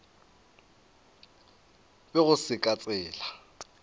be go se ka tsela